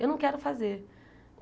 Eu não quero fazer.